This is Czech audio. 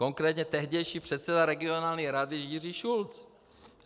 Konkrétně tehdejší předseda regionální rady Jiří Šulc.